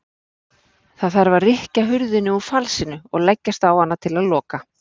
Það þarf að rykkja hurðinni úr falsinu og leggjast á hana til að loka.